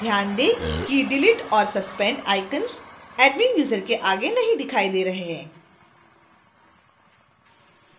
ध्यान दें कि delete और suspend icons admin user के आगे नहीं दिखाए गए हैं